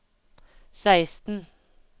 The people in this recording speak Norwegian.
seksten